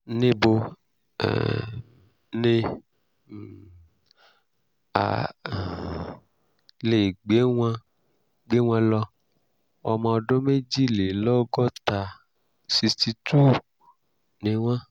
níbo um ni um a um lè gbé wọn gbé wọn lọ? ọmọ ọdún méjìlélọ́gọ́ta [ sixty two ] ni wọ́n